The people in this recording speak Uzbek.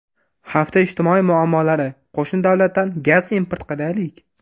Hafta ijtimoiy muammolari: Qo‘shni davlatdan gaz import qilaylik.